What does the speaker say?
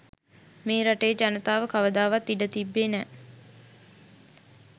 මේ රටේ ජනතාව කවදාවත් ඉඩ තිබ්බේ නැහැ